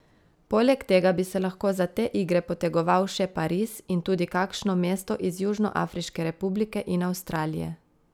Poleg tega bi se lahko za te igre potegoval še Pariz in tudi kakšno mesto iz Južnoafriške republike in Avstralije.